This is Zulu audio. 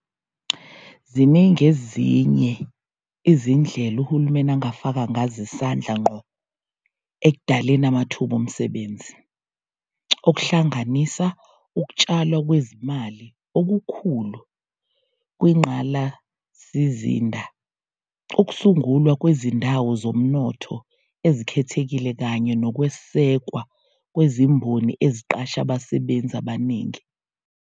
Ziningi ezinye izindlela uhulumeni afaka ngazo isandla ngqo ekudaleni amathuba omsebenzi, okuhlanganisa ukutshalwa kwezimali okukhulu kwingqalasizinda, ukusungulwa kwezindawo zomnotho ezikhethekile kanye nokwesekwa kwezimboni eziqashe abasebenzi abaningi.